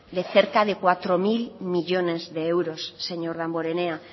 de cerca de cuatro mil millónes de euros